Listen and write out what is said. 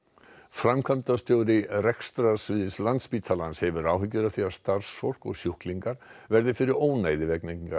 framkvæmdastjóri rekstrarsviðs Landspítalans hefur áhyggjur af því að starfsfólk og sjúklingar verði fyrir ónæði vegna byggingar